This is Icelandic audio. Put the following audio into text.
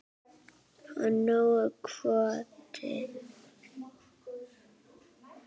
Og nógur kvóti.